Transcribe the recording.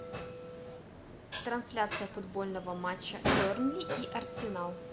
трансляция футбольного матча бернли и арсенал